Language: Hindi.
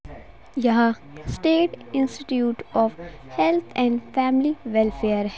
यहाँ state institute of health and family welfare --